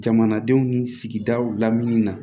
Jamanadenw ni sigidaw lamini na